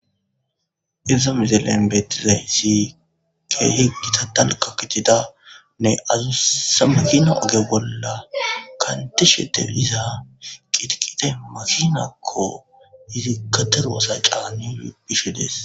Izza mizilen beettizay si ke higgita dalqa kitida nne azusa makina oge bolla kantishete biza qitiqite makinakko izikateroosa caani bishedees.